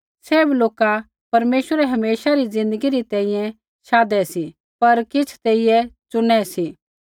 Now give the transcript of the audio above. सैभ लोका परमेश्वरै हमेशा री ज़िन्दगी री तैंईंयैं शाधै सी पर किछ़ तेइयै चुनै सी